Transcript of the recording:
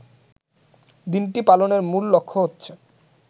দিনটি পালনের মূল লক্ষ্য হচ্ছে